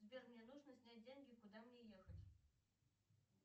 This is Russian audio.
сбер мне нужно снять деньги куда мне ехать